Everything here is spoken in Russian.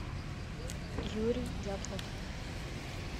юрий дятлов